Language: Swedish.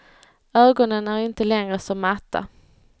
Ögonen är inte längre så matta.